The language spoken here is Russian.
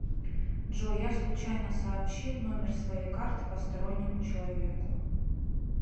джой я случайно сообщил номер своей карты постороннему человеку